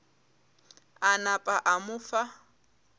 a napa a mo fa